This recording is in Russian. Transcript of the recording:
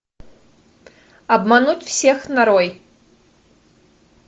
обмануть всех нарой